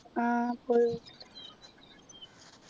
ആഹ് പോയി